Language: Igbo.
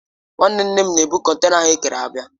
Nwanne Nne m na-ebụ kọntena ahụ ekere abịa.